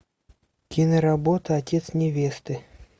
киноработа отец невесты